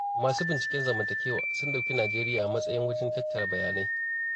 Masu binciken zamantakewa sun ɗauki Nijeriya matsayin wajen tattara bayanai.